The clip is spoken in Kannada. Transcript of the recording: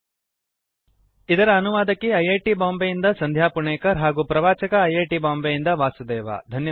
httpspoken tutorialorgNMEICT Intro ಇದರ ಅನುವಾದಕಿ ಐ ಐ ಟಿ ಬಾಂಬೆಯಿಂದ ಸಂಧ್ಯಾ ಪುಣೇಕರ್ ಹಾಗೂ ಪ್ರವಾಚಕ ಐ ಐ ಟಿ ಬಾಂಬೆ ಯಿಂದ ವಾಸುದೇವ